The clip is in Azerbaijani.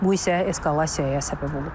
Bu isə eskalasiyaya səbəb olub.